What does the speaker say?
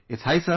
High sir